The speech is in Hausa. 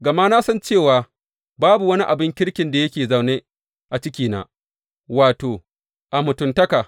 Gama na san cewa babu wani abin kirkin da yake zaune a cikina, wato, a mutuntakata.